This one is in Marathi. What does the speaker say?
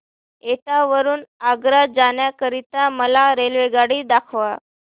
एटा वरून आग्रा जाण्या करीता मला रेल्वेगाडी दाखवा